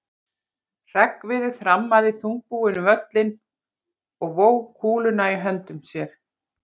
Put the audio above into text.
Hreggviður þrammaði þungbúinn um völlinn og vóg kúluna í höndum sér.